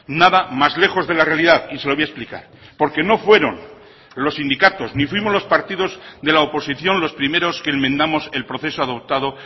nada más lejos de la realidad y se lo voy a explicar porque no fueron los sindicatos ni fuimos los partidos de la oposición los primeros que enmendamos el proceso adoptado